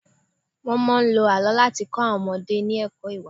Wọ́n máa ń lo àọ́ láti kọ àwọn ọmọdé ní ẹ̀kọ́ ìwà.